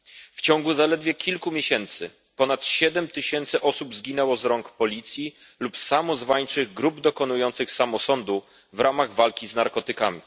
W ciągu zaledwie kilku miesięcy ponad siedem tysięcy osób zginęło z rąk policji lub samozwańczych grup dokonujących samosądu w ramach walki z narkotykami.